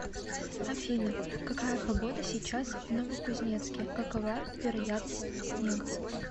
афина какая погода сейчас в новокузнецке какова вероятность снега